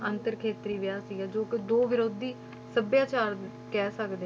ਅੰਤਰ ਖੇਤਰੀ ਵਿਆਹ ਸੀਗਾ ਜੋ ਕਿ ਦੋ ਵਿਰੋਧੀ ਸਭਿਆਚਾਰ ਕਹਿ ਸਕਦੇ,